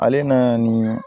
Ale na nin